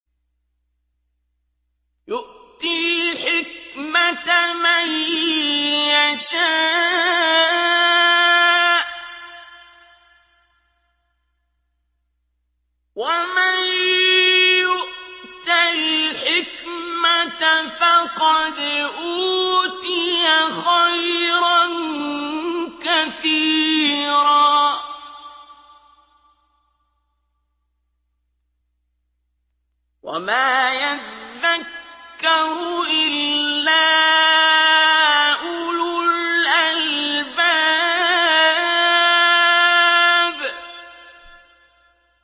يُؤْتِي الْحِكْمَةَ مَن يَشَاءُ ۚ وَمَن يُؤْتَ الْحِكْمَةَ فَقَدْ أُوتِيَ خَيْرًا كَثِيرًا ۗ وَمَا يَذَّكَّرُ إِلَّا أُولُو الْأَلْبَابِ